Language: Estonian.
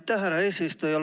Aitäh, härra eesistuja!